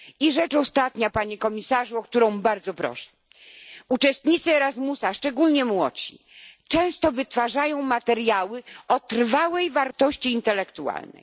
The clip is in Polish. Rzecz ostatnia, panie komisarzu, o którą bardzo proszę uczestnicy Erasmusa, szczególnie młodsi, często wytwarzają materiały o trwałej wartości intelektualnej.